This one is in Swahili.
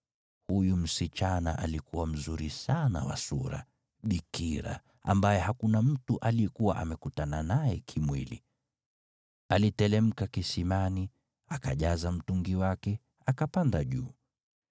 Huyu msichana alikuwa mzuri sana wa sura, bikira, ambaye hakuna mtu aliyekuwa amekutana naye kimwili. Aliteremka kisimani, akajaza mtungi wake akapanda juu.